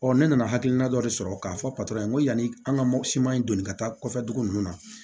ne nana hakilina dɔ de sɔrɔ k'a fɔ n ko yani an ka mɔputi in doni ka taa kɔfɛ dugu nunnu na